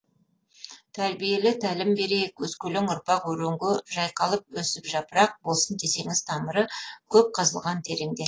тәрбиелі тәлім берейік өскелең ұрпақ өренге жайқалып өсіп жапырақ болсын десеңіз тамыры көп қазылған тереңде